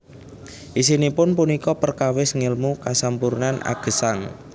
Isinipun punika perkawis ngèlmu kasampurnan agesang